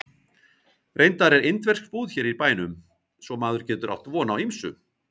Reyndar er indversk búð hér í bænum svo maður getur átt von á ýmsu